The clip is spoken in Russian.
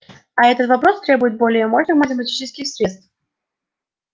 а этот вопрос требует более мощных математических средств